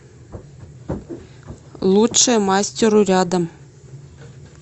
лучшее мастеру рядом